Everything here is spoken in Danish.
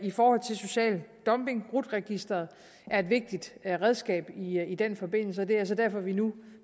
for social dumping rut registeret er et vigtigt redskab i den forbindelse og det er så derfor at vi nu